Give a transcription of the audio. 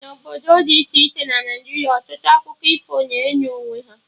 Na obodo dị iche iche na Naịjiria, ọtụtụ akụkọ ifo na eyi onwe ha